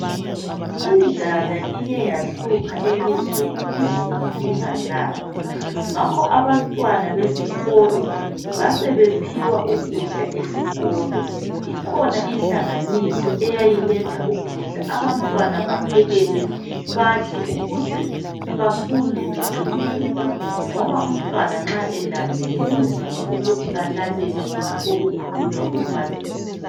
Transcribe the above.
Indlala Ike yahlupha elizweni, izulu lingananga ngakho abantwana besikolo, basebephiwa ukudla esikolo. Ikhona inhlanganiso eyayiletha ukudla abantwana baphekelwe, badle ukuze bafunde beqinile. Ngoba umntwana nxa elambile kunzima ukuthi alalele okukhulunywa ngumbalisi.